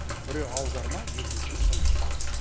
біреуі аударма екінші сын